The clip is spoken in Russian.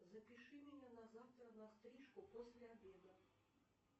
запиши меня на завтра на стрижку после обеда